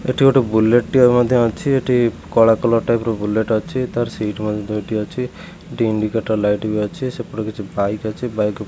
ଏଇଠି ଗୋଟେ ବୁଲେଟ୍ ଟିଏ ମଧ୍ୟ ଅଛି ଏଠି କଳା କଲର ର ଟାଇପ୍ ର ବୁଲେଟ୍ ଅଛି ତାର ସିଟ୍ ମଧ୍ୟ ଦୁଇଟି ଅଛି ଦି ଇଣ୍ଡିକେଟର ଲାଇଟ୍ ବି ଅଛି ସେପଟେ କିଛି ବାଇକ୍ ଅଛି ବାଇକ୍ ଉପ--